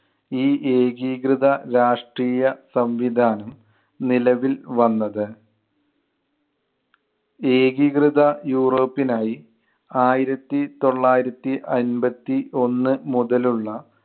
ഈ ഏകീകൃത രാഷ്ട്രീയ സംവിധാനം നിലവിൽ വന്നത്. ഏകീകൃത യൂറോപ്പിനായി ആയിരത്തി തൊള്ളായിരത്തി അൻപത്തി ഒന്ന് മുതലുള്ള